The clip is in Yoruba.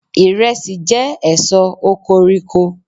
iresi je èso okoriko